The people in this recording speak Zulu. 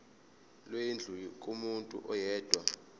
lwendlu kumuntu oyedwa